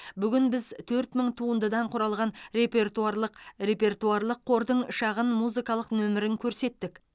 бүгін біз төрт мың туындыдан құралған репертуарлық репертуарлық қордың шағын музыкалық нөмірін көрсеттік